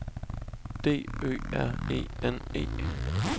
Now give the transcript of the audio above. D Ø R E N E